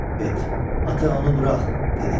Bet: "Ata, onu burax," dedi.